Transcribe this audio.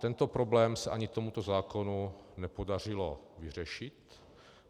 Tento problém se ani tomuto zákonu nepodařilo vyřešit.